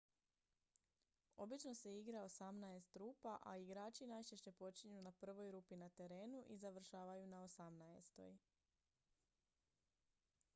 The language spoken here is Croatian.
obično se igra osamnaest rupa a igrači najčešće počinju na prvoj rupi na terenu i završavaju na osamnaestoj